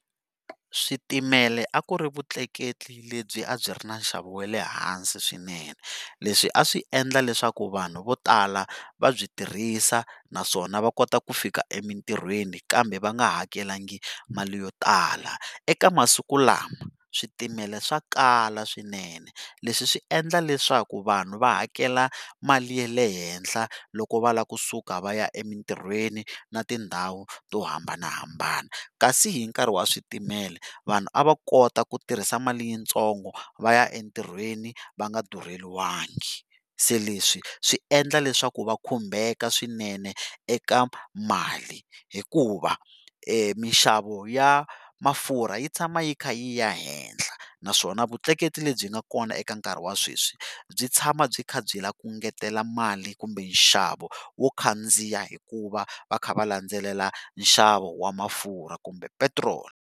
Switimela a ku ri vutleketli lebyi a byi ri na nxavo wa le hansi swinene leswi a swi endla leswaku vanhu vo tala va byi tirhisa naswona va kota ku fika emitirhweni kambe va nga hakelanga mali yo tala eka masiku lama switimela swakala swinene leswi swi endla leswaku vanhu va hakela mali ya le henhla loko va lava kusuka va ya emitirhweni na tindhawu to hambanahambana kasi hi nkarhi wa switimela vanhu a va kota ku tirhisa mali yintsongo va ya entirhweni va nga durheliwanga se leswi swi endla leswaku va khumbeka swinene eka mali hikuva minxavo ya mafurha yi tshama yi kha yi ya ehehla naswona vutleketli lebyi nga kona eka nkarhi wa sweswi byi tshama byi kha byi lava ku engetela mali kumbe nxavo wo khandziya hikuva va kha va landzelela nxavo wa mafurha kumbe petiroli.